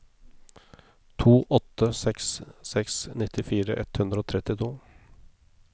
to åtte seks seks nittifire ett hundre og trettito